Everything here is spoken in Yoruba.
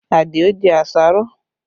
Adio jẹ àṣàrò